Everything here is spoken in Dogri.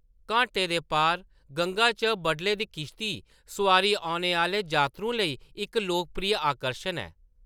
घाटें दे पार गंगा च बडले दी किश्ती-सुआरी औने आह्‌ले जातरुएं लेई इक लोकप्रिय आकर्शन ऐ।